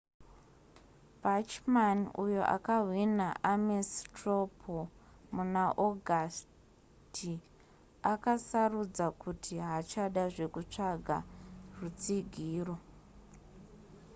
bachmann uyo akahwina ames straw poll muna augusty akasarudza kuti haachada zvekutsvaga rutsigiro